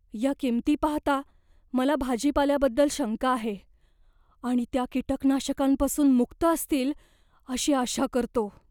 या कमी किंमती पाहता, मला भाजीपाल्याबद्दल शंका आहे आणि त्या कीटकनाशकांपासून मुक्त असतील अशी आशा करतो.